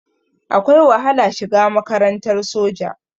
Akwai wahala shiga makarantar soja.